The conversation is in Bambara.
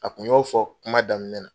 A tun y'o fɔ kuma daminɛ na.